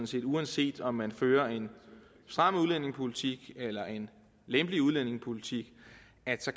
set at uanset om man fører en stram udlændingepolitik eller en lempelig udlændingepolitik